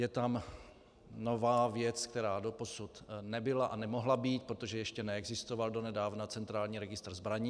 Je tam nová věc, která doposud nebyla a nemohla být, protože ještě neexistoval donedávna centrální registr zbraní.